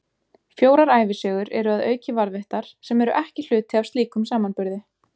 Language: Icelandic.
Fjórar ævisögur eru að auki varðveittar, sem eru ekki hluti af slíkum samanburði.